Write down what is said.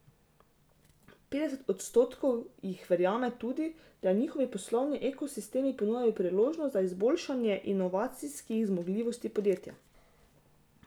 Petdeset odstotkov jih verjame tudi, da njihovi poslovni ekosistemi ponujajo priložnost za izboljšanje inovacijskih zmogljivosti podjetja.